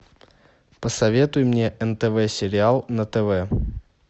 посоветуй мне нтв сериал на тв